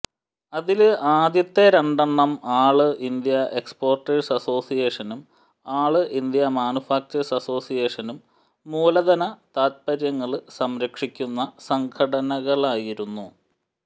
അതില് ആദ്യത്തെ രണ്ടെണ്ണം ആള് ഇന്ത്യ എക്സ്പോര്ട്ടേഴ്സ് അസോസിയേഷനും ആള് ഇന്ത്യ മാനുഫാക്ചേഴ്സ് അസോസിയേഷനും മൂലധന താത്പര്യങ്ങള് സംരക്ഷിക്കുന്ന സംഘടനകളായിരുന്നു